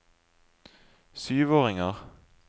syvåringer